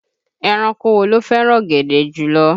Ẹranko wo ló fẹ́ràn ọ̀gẹ̀dẹ̀ jùlọ?